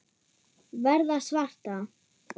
Verða svarta.